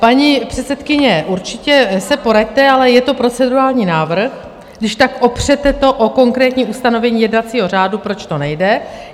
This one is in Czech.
Paní předsedkyně, určitě se poraďte, ale je to procedurální návrh - když tak opřete to o konkrétní ustanovení jednacího řádu, proč to nejde.